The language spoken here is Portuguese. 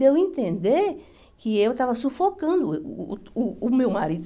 Deu a entender que eu estava sufocando uh o meu marido.